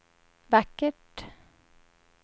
vackert